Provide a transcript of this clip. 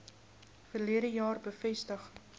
verlede jaar bevestig